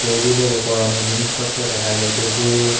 Table -এর ওপর অনেক জিনিসপত্র দেখা যাইতেসে।